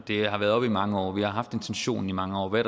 har været oppe i mange år vi har haft intentionen i mange år hvad